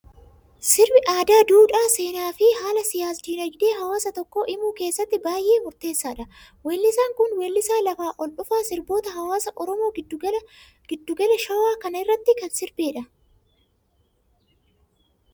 Sirbi aadaa, duudhaa, seenaa fi haala siyaas dinaagdee hawaasa tokkoo himuu keessatti baayyee murteessaadha. Weellisaan Kun, weellisaa lafaa ol dhufaa fi sirboota hawaasa Oromoo giddu gala shawaa kana irratti kan sirbedha.